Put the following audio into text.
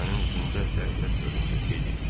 Gənəbənin üzündə dəhşət göründü, dedi.